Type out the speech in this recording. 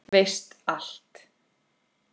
Veist allt.